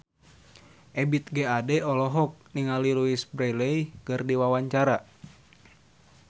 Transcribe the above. Ebith G. Ade olohok ningali Louise Brealey keur diwawancara